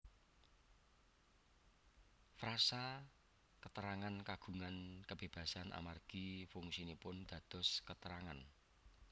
Frasa keterangan kagungan kebebasan amargi fungsinipun dados keterangan